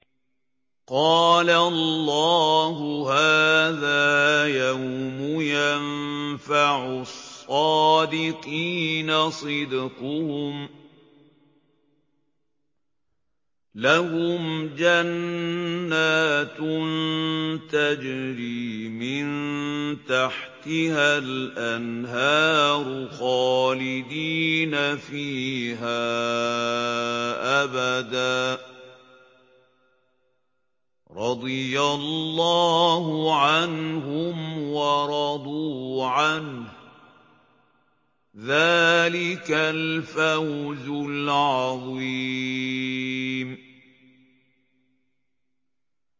قَالَ اللَّهُ هَٰذَا يَوْمُ يَنفَعُ الصَّادِقِينَ صِدْقُهُمْ ۚ لَهُمْ جَنَّاتٌ تَجْرِي مِن تَحْتِهَا الْأَنْهَارُ خَالِدِينَ فِيهَا أَبَدًا ۚ رَّضِيَ اللَّهُ عَنْهُمْ وَرَضُوا عَنْهُ ۚ ذَٰلِكَ الْفَوْزُ الْعَظِيمُ